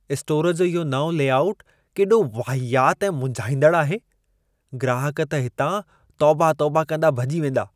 Store जी इहो नओं लेआउट केॾो वाहियात ऐं मुंझाईंदड़ आहे। ग्राहक त हितां तौबा-तौबा कंदा भेॼी वेंदा।